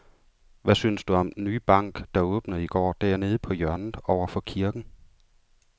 Hvad synes du om den nye bank, der åbnede i går dernede på hjørnet over for kirken?